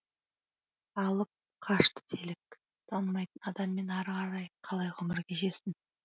алып қашты делік танымайтын адаммен ары қарай қалай ғұмыр кешесің